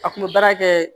A kun bɛ baara kɛ